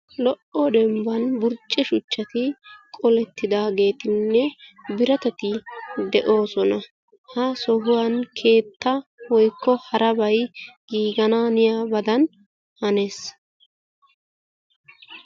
Lo"o dembban burcce shuchchati qooletidaageetinne biratati de'oosona. Ha sohuwaan keetta woykko harabay giigananiyabadan hanees.